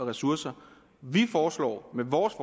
og ressourcer og vi foreslår med vores